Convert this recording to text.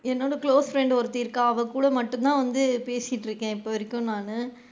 என்னோட close friend ஒருத்தி இருக்கா அவகூட மட்டும் தான் வந்து பேசிட்டு இருக்கேன் இப்போ வரைக்கும் நானு.